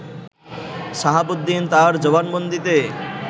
শাহাবুদ্দিন তার জবানবন্দিতে